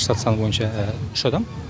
штат саны бойынша адам